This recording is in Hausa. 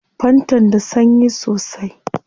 Fantan da sanyi sosai